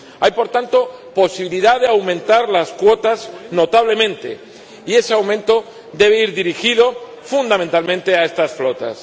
Hay, por tanto, posibilidad de aumentar las cuotas notablemente, y ese aumento debe ir dirigido fundamentalmente a estas flotas.